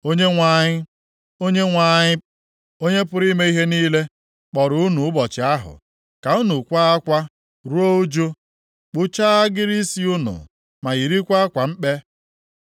Onyenwe anyị, Onyenwe anyị, Onye pụrụ ime ihe niile, kpọrọ unu ụbọchị ahụ ka unu kwaa akwa, ruo ụjụ, kpụchaa agịrị isi unu ma yirikwa akwa mkpe.